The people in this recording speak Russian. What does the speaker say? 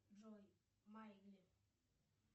джой майли